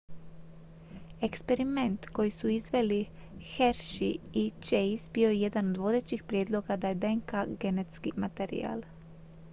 eksperiment koji su izveli hershey i chase bio je jedan od vodećih prijedloga da je dnk genetski materijal